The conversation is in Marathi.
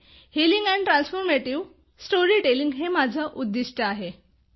healing and transformative story telling हे माझे उद्दिष्ट आहे